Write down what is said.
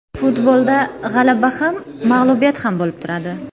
Futbolda g‘alaba ham, mag‘lubiyat ham bo‘lib turadi.